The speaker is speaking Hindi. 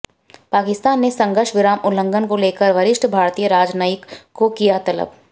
पाकिस्तान ने संघर्ष विराम उल्लंघन को लेकर वरिष्ठ भारतीय राजनयिक को किया तलब